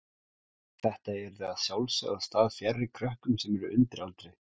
Þetta yrði að sjálfsögðu á stað fjarri krökkum sem eru undir aldri.